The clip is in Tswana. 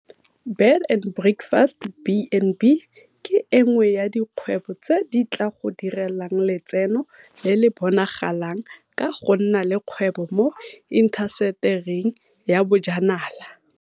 Bed and breakfast B and B ke e nngwe ya dikgwebo tseo di tla go direlang letseno le le bonagalang ka go nna le kgwebo mo intasetering ya bojanala.